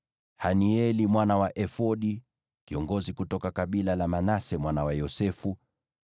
Hanieli mwana wa Efodi, kiongozi kutoka kabila la Manase mwana wa Yosefu;